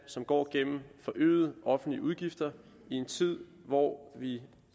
som går gennem forøgede offentlige udgifter i en tid hvor vi